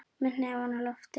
Með hnefann á lofti.